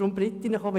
Darum geht es mir.